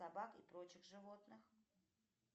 собак и прочих животных